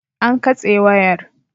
An katse wayar.